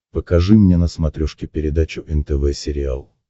покажи мне на смотрешке передачу нтв сериал